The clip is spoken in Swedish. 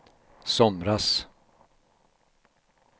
somras